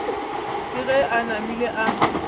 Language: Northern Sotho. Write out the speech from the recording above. ke ge a namile a